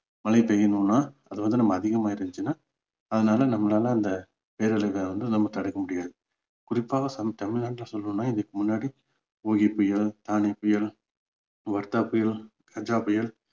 மழை பெய்யணும்னா அது வந்து நம்ம அதிகமா இருந்துச்சுன்னா அதனால நம்மளால அந்த பேரழிவுகளை வந்து நம்ம தடுக்க முடியாது குறிப்பா நம்ம தமிழ்நாட்டுல சொல்லணும்னா இதுக்கு முன்னாடி ஒகி புயல், தானே புயல், வர்தா புயல், கஜா புயல்,